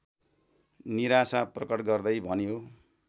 निराशा प्रकट गर्दै भन्यो